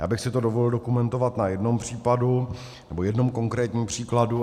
Já bych si to dovolil dokumentovat na jednom případu, nebo jednou konkrétním příkladu.